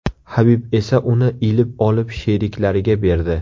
Habib esa uni ilib olib sheriklariga berdi.